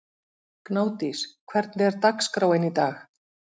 Gnádís, hvernig er dagskráin í dag?